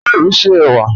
Ṣé o ṣé ewa?